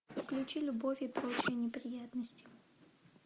включи любовь и прочие неприятности